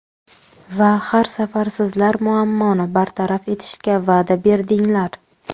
Va har safar sizlar muammoni bartaraf etishga va’da berdinglar.